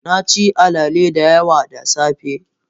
Na ci alele da yawa da safe.